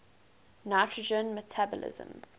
nitrogen metabolism